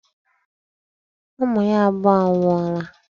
Ụmụ ya abụọ anwụọla.